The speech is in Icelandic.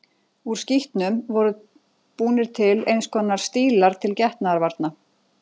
Úr skítnum voru búnir til eins konar stílar til getnaðarvarna.